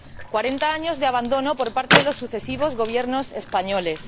Cuarenta años de abandono por parte de los sucesivos Gobiernos españoles.